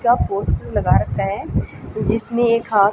क्या पोस्टर लगा रखा है जिसमें एक हाथ--